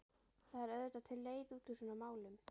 það er auðvitað til leið út úr svona málum.